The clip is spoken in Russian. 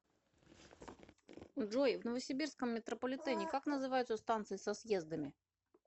джой в новосибирском метрополитене как называются станции со съездами